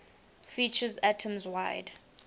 features atoms wide